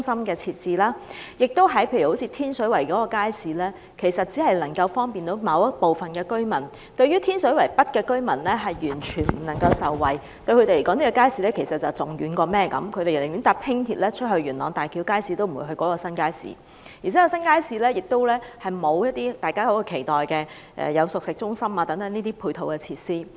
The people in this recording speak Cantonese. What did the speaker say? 又例如天水圍街市，它其實只能夠方便某部分居民，天水圍北的居民完全未能受惠，因為對他們來說，這個街市太遠，他們寧願乘搭輕鐵前往元朗的大橋街市，也不會前往這個新街市；而且，這個新街市亦沒有大家期待的熟食中心等配套設施。